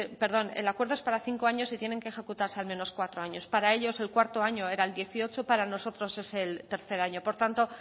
perdón el acuerdo es para cinco años y tienen que ejecutarse al menos cuatro años para ellos el cuarto año era dos mil dieciocho para nosotros es el tercer año por tanto